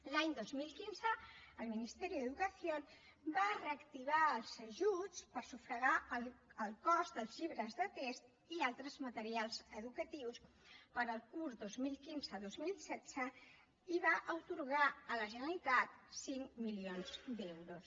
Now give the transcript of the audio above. l’any dos mil quinze el ministerio de educación va reactivar els ajuts per sufragar el cost dels llibres de text i altres materials educatius per al curs dos mil quinze dos mil setze i va atorgar a la generalitat cinc milions d’euros